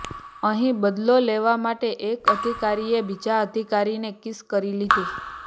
અહીં બદલો લેવા માટે એક અધિકારીએ બીજા અધિકારીને કિસ કરી લીધી